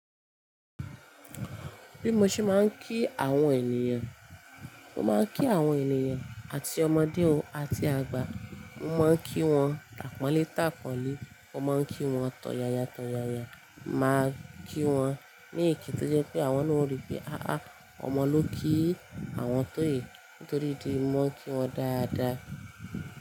Bí mo ṣe máa ń kí àwọn ènìyàn, mo máa ń kí àwọn ènìyàn àti ọmọdé o àti àgbà, mo máa ń kí wọn tàpọ̀nlé tàpọ̀nlé, mo máa ń kí wọn tọ̀yàyà tọ̀yàyà, màá kí wọn ní ìkí tó jẹ́ pé àwọn náà ó rí pé "àá ọmọ ló kí àwọn tó yìí" nítorí dí mo ń kí wọn dáadáa.